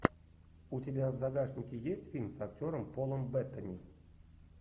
у тебя в загашнике есть фильм с актером полом беттани